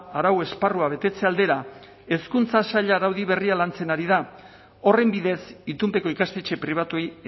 arau esparrua betetze aldera hezkuntza saila araudi berria lantzen ari da horren bidez itunpeko ikastetxe pribatuei